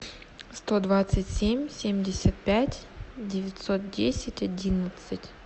сто двадцать семь семьдесят пять девятьсот десять одиннадцать